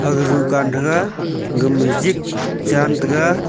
aga dukan thaga gama jik chan taga.